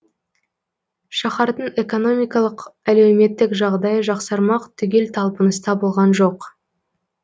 шаһардың экономикалық әлеуметтік жағдайы жақсармақ түгел талпыныста болған жоқ